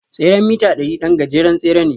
tseren mita ɗari ɗan gajeren tsere ne.